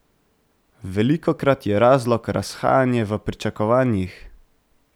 Velikokrat je razlog razhajanje v pričakovanjih.